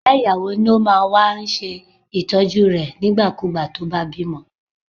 Ìyá ìyàwó náà ló máa ń wá ṣe Ìtọ́jú rẹ̀ nígbà kú ìgbà tí ó bá bímọ.